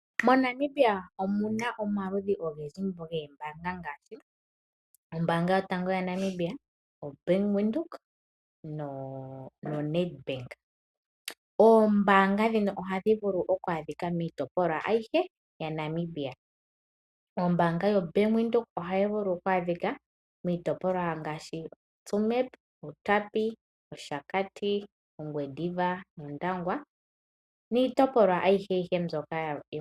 MoNamibia omu na omaludhi ogendji goombaanga ngaashi: ombaanga yotango yaNamibia, oBank Windhoek noNedbank. Oombaanga ndhika ohadhi vulu okwaadhika miitopolwa ayihe yaNamibia. Ombaanga yoBank Windhoek ohayi vulu okwaadhika miitopolwa ngaashi: Tsumeb, Outapi, Oshakati, Ongwediva nOndangwa, niitopolwa ayihe yayooloka.